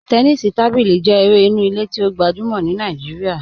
Tẹ́nìsí tábílí jẹ èrè ìnú ìlẹ̀ tí o gbajúmọ̀ ní Naijíríà,